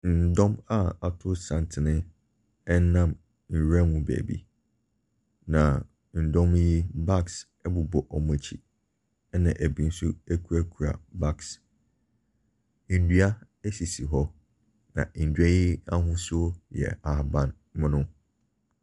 Ndɔm a ato santene nam nwuram mu baabi. Na ndɔm yi, bags bobɔ wɔn akyi, na ebinom nso kurekura bags wɔ wɔn nsa mu. Ndua sisi hɔ na ndua yi ahosi yɛ ahaban mono.